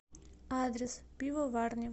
адрес пивоварня